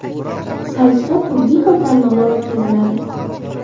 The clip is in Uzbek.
Saytda turli xil tanlovlar o‘tkaziladi.